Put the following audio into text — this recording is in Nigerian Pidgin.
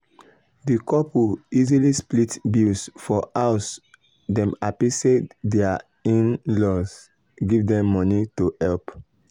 d couple easily split bills for house dem happy say dir in-laws give dem moeny to help.